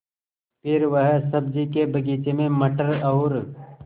फिर वह सब्ज़ी के बगीचे में मटर और